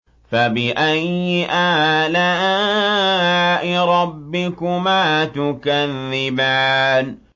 فَبِأَيِّ آلَاءِ رَبِّكُمَا تُكَذِّبَانِ